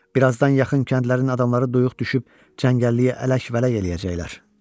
Bir azdan yaxın kəndlərin adamları duyuq düşüb cəngəlliyə ələk-vələk eləyəcəklər.